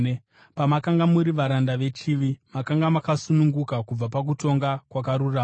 Pamakanga muri varanda vechivi, makanga makasununguka kubva pakutonga kwakarurama.